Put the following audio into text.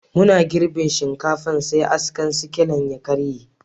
Muna girbin shinkafan, sai askan sikilan ya karye.